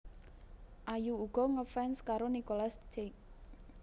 Ayu uga ngefans karo Nicolas Cage